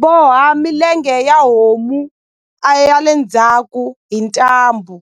boha milenge ya homu a ya le ndzhaku hi ntambu